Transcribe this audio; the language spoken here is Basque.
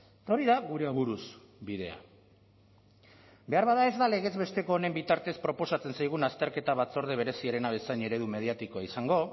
eta hori da gure aburuz bidea beharbada ez da legez besteko honen bitartez proposatzen zaigun azterketa batzorde bereziarena bezain eredu mediatikoa izango